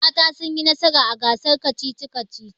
Mata sun yi nasara a gasar kacici-kacicin